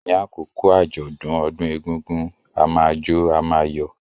Ní àkókò àjọ̀dún ọdún egúngún, a máa jó, a máa yọ̀.